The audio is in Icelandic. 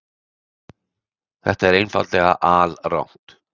Þetta er einfaldlega alrangt.